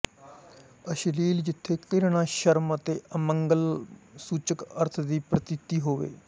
ਅਸ਼ਲੀਲ ਜਿੱਥੇ ਘਿਰਣਾਸ਼ਰਮ ਅਤੇ ਅਮੰਗਲ ਸੂਚਕ ਅਰਥ ਦੀ ਪ੍ਰਤੀਤੀ ਹੋਵੇ